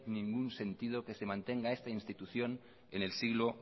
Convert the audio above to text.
ningún sentido que se mantengan esta institución en el siglo